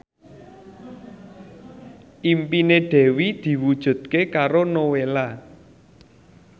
impine Dewi diwujudke karo Nowela